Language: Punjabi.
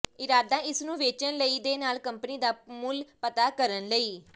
ਇਰਾਦਾ ਇਸ ਨੂੰ ਵੇਚਣ ਲਈ ਦੇ ਨਾਲ ਕੰਪਨੀ ਦਾ ਮੁੱਲ ਪਤਾ ਕਰਨ ਲਈ